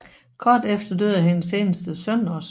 Kort efter døde hendes eneste søn også